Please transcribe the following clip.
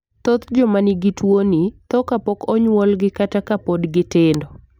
Thoth joma nigi tuwoni tho kapok onyuolgi kata ka pod gitindo.